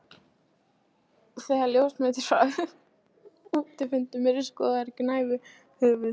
Þegar ljósmyndir frá útifundum eru skoðaðar gnæfir höfuð